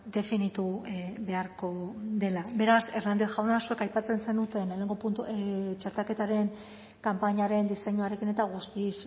definitu beharko dela beraz hernández jauna zuek aipatzen zenuten txertaketaren kanpainaren diseinuarekin eta guztiz